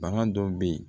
Bana dɔw be ye